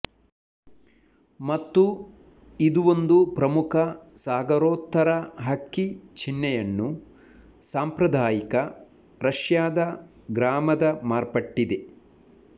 ಮತ್ತು ಇದು ಒಂದು ಪ್ರಮುಖ ಸಾಗರೋತ್ತರ ಹಕ್ಕಿ ಚಿಹ್ನೆಯನ್ನು ಸಾಂಪ್ರದಾಯಿಕ ರಷ್ಯಾದ ಗ್ರಾಮದ ಮಾರ್ಪಟ್ಟಿದೆ